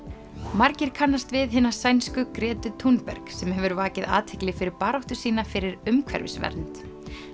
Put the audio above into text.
margir kannast við hina sænsku Gretu Thunberg sem hefur vakið athygli fyrir baráttu sína fyrir umhverfisvernd